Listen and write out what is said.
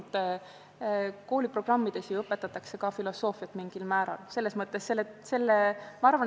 Jah, loomulikult, kooliprogrammid ju sisaldavad mingil määral ka filosoofiat.